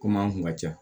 Kom'an kun ka ca